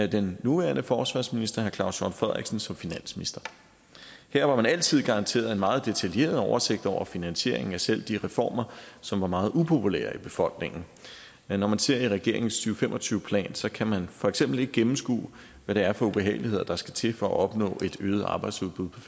den nuværende forsvarsminister herre claus hjort frederiksen som finansminister her var man altid garanteret en meget detaljeret oversigt over finansieringen af selv de reformer som var meget upopulære i befolkningen når man ser i regeringens to fem og tyve plan kan man for eksempel ikke gennemskue hvad det er for ubehageligheder der skal til for at opnå et øget arbejdsudbud på